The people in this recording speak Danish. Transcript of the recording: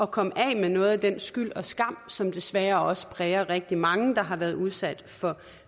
komme af med noget af den skyld og skam som desværre også præger rigtig mange der har været udsat for